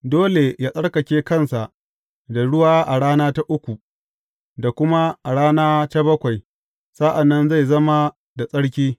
Dole yă tsarkake kansa da ruwa a rana ta uku, da kuma a rana ta bakwai; sa’an nan zai zama da tsarki.